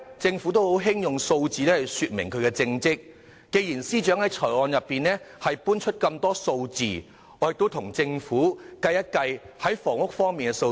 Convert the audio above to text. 政府一向喜歡用數字來顯示政績，既然司長在預算案臚列了很多數字，我現在就跟政府計算一下房屋方面的數字。